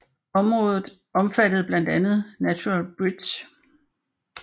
Området omfattede blandt andet Natural Bridge